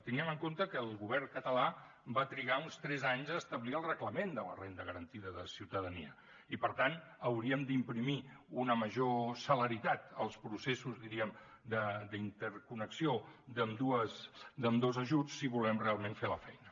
tinguem en compte que el govern català va trigar uns tres anys a establir el reglament de la renda garantida de ciutadania i per tant hauríem d’imprimir una major celeritat als processos diríem d’interconnexió d’ambdós ajuts si volem realment fer la feina